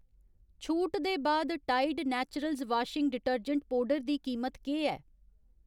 छूट दे बाद Tide Naturals washing detergent powder दी कीमत केह् ऐ ?